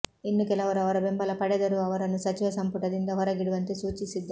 ಇನ್ನು ಕೆಲವರು ಅವರ ಬೆಂಬಲ ಪಡೆದರೂ ಅವರನ್ನು ಸಚಿವ ಸಂಪುಟದಿಂದ ಹೊರಗಿಡುವಂತೆ ಸೂಚಿಸಿದ್ದಾರೆ